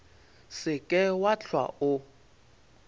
se ke wa hlwa o